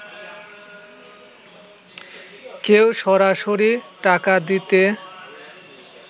কেউ সরাসরি টাকা দিতে